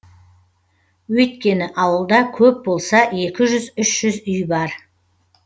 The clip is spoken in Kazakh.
өйткені ауылда көп болса екі жүз үш жүз үй бар